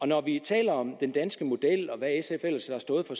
når vi taler om den danske model og hvad sf ellers har stået for